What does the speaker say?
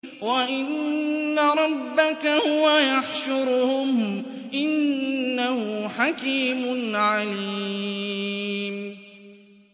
وَإِنَّ رَبَّكَ هُوَ يَحْشُرُهُمْ ۚ إِنَّهُ حَكِيمٌ عَلِيمٌ